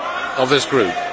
of this Group.